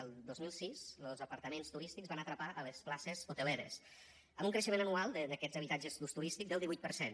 el dos mil sis els apartaments turístics van atrapar les places hoteleres amb un creixement anual d’aquests habitatges d’ús turístic del divuit per cent